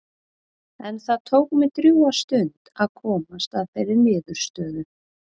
En það tók mig drjúga stund að komast að þeirri niðurstöðu.